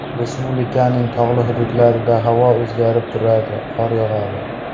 Respublikaning tog‘li hududlarida havo o‘zgarib turadi, qor yog‘adi.